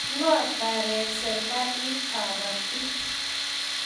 Ngo taret serikalit kabatik